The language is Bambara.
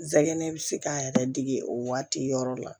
N sɛgɛn bɛ se k'a yɛrɛ dege o waati yɔrɔ la